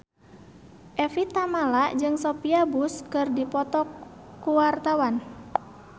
Evie Tamala jeung Sophia Bush keur dipoto ku wartawan